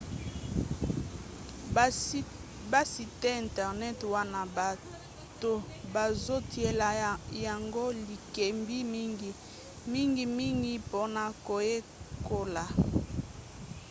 basite internet wana bato bazotiela yango likebi mingi mingimingi mpona koyekola